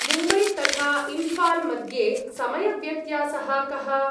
मुम्बै तथा इम्फाल् मध्ये समयव्यत्यासः कः?